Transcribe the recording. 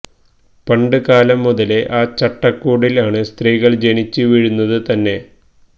പണ്ട് കാലം മുതലേ ആ ചട്ടക്കൂടിൽ ആണ് സ്ത്രീകൾ ജനിച്ചു വീഴുന്നത് തന്നെ